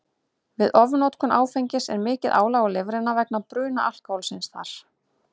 Við ofnotkun áfengis er mikið álag á lifrina vegna bruna alkóhólsins þar.